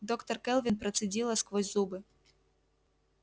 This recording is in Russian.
доктор кэлвин процедила сквозь зубы